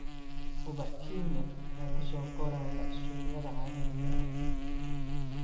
Ubax Kenya ayaa ku soo koraya suuqyada caalamiga ah.